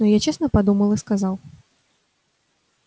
но я честно подумал и сказал